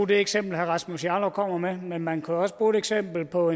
det eksempel herre rasmus jarlov kommer med men man kunne jo også bruge et eksempel på